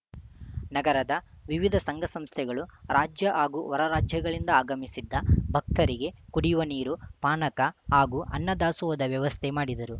ನಗರದ ವಿವಿಧ ಸಂಘಸಂಸ್ಥೆಗಳು ರಾಜ್ಯ ಹಾಗೂ ಹೊರ ರಾಜ್ಯಗಳಿಂದ ಆಗಮಿಸಿದ್ದ ಭಕ್ತರಿಗೆ ಕುಡಿಯುವ ನೀರು ಪಾನಕ ಹಾಗೂ ಅನ್ನದಾಸೋಹದ ವ್ಯವಸ್ಥೆ ಮಾಡಿದ್ದರು